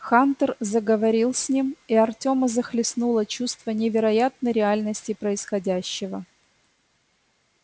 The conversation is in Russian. хантер заговорил с ним и артёма захлестнуло чувство невероятной реальности происходящего